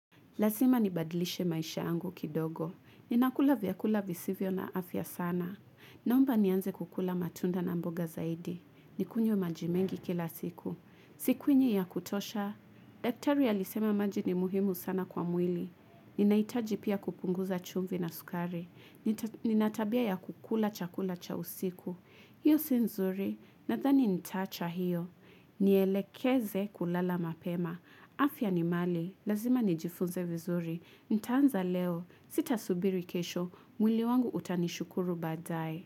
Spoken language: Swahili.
Lasima nibadlishe maisha yangu kidogo. Ninakula vyakula visivyo na afya sana. Naomba nianze kukula matunda na mboga zaidi. Nikunywe maji mengi kila siku. Sikunywi ya kutosha. Daktari alisema maji ni muhimu sana kwa mwili. Ninaitaji pia kupunguza chumvi na sukari. Ninatabia ya kukula chakula cha usiku. Hiyo si nzuri. Nadhani nitaacha hiyo. Nielekeze kulala mapema. Afya ni mali. Lazima nijifunze vizuri, nitaanza leo, sitasubiri kesho, mwili wangu utanishukuru badae.